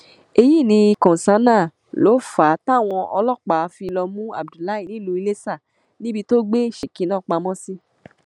èyí ni kọńsánná ló fà á táwọn ọlọpàá fi lọọ mú abdullahi nílùú iléṣà níbi tó gbé shekinah pamọ sí